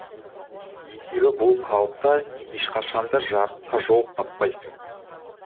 есебі бұл қалыпта ешқашан да жарыққа жол таппайсың